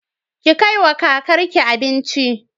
Ki kaiwa kakar ki abinci.